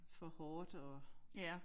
For hårdt og